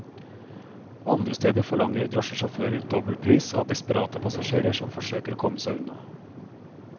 Andre steder forlanger drosjesjåfører dobbel pris av desperate passasjerer som forsøker å komme seg unna.